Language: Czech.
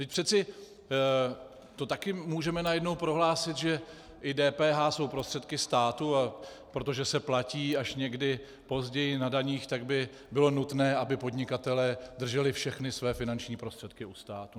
Vždyť přeci to taky můžeme najednou prohlásit, že i DPH jsou prostředky státu, a protože se platí až někdy později na daních, tak by bylo nutné, aby podnikatelé drželi všechny své finanční prostředky u státu.